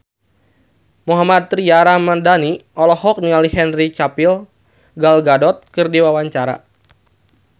Mohammad Tria Ramadhani olohok ningali Henry Cavill Gal Gadot keur diwawancara